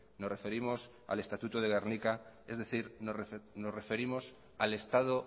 nos referimos al estatuto de gernika es decir nos referimos al estado